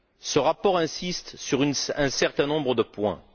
Ce rapport insiste sur un certain nombre de points.